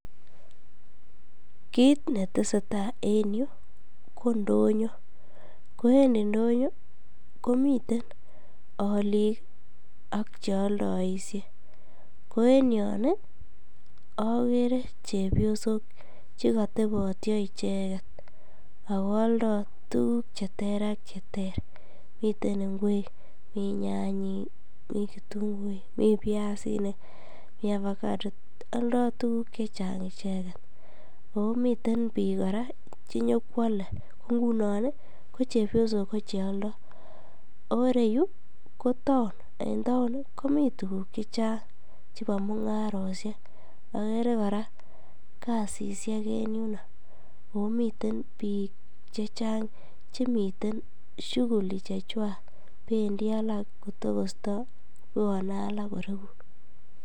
Kiit netesetaa en yuu ko indonyo, ko en indonyo komiten oliik ak cheoldoishe, ko en yon okere chepiosok chekotebotio icheket ak ko oldo tukuk cheter ak cheter, miten ing'wek, mii nyanyik, mii kitung'uik, mii biasinik, mii ovacado, oldo tukuk chechang icheket, omiten biik kora chenyokwole ko ng'unon ko chepiosok ko cheoldo, oo ireyu ko taon ak ko en taon komii tukuk chechang chebo mung'aret, okere kora gasishek omiten biik chechang chemiten shuguli chechwak bendii alak kotokosto kobwone alak koreku.